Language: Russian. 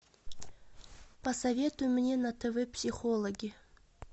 посоветуй мне на тв психологи